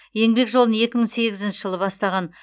еңбек жолын екі мың сегізінші жылы бастаған